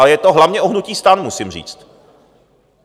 A je to hlavně o hnutí STAN, musím říct.